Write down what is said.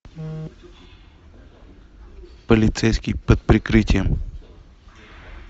полицейские под прикрытием